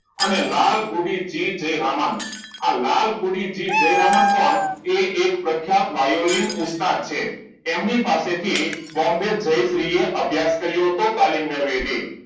લાલ ગોબીચિપ જય રમન આ લાલ ગોબીચીપ જયરામન કોણ એ એક પ્રખ્યાત વાયોલિન ઉસ્તાદ છે એમની પાસે થી બોમ્બે જયશ્રી એ અભ્યાસ કર્યો હતો તાલીમ મેળવી હતી